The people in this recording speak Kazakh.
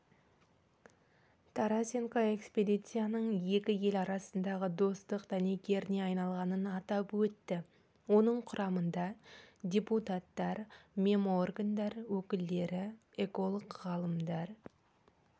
тарасенко экспедицияның екі ел арасындағы достық дәнекеріне айналғанын атап өтті оның құрамында депутаттар меморгандар өкілдері эколог-ғалымдар